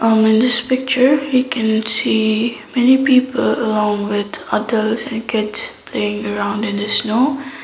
um in this picture we can see many people along with adults and kids playing around in the snow.